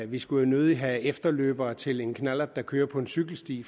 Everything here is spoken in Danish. vi skulle jo nødig have efterløbere til en knallert der kører på en cykelsti